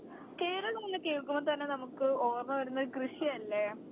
കേരളമെന്ന് കേൾക്കുമ്പോ തന്നെ നമുക്ക് ഓർമ്മവരുന്നത് കൃഷിയല്ലേ